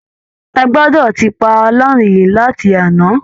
Ẹ gbọdọ̀ ti paná yìí láti àná!